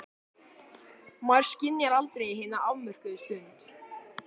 Maður skynjar aldrei hina afmörkuðu stund.